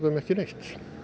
ekki neitt